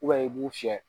i b'u fiyɛ